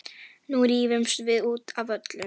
Nú rífumst við út af öllu.